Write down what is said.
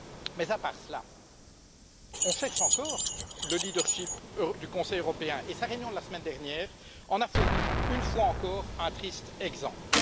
Mais à part cela, on cherche encore le leadership du Conseil européen et sa réunion de la semaine dernière en a fourni, une fois encore, un triste exemple.